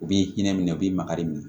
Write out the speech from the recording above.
U b'i hinɛ minɛ u b'i makari minɛ